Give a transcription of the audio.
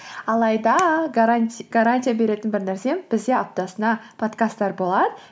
алайда гарантия беретін бір нәрсем бізде аптасына подкасттар болады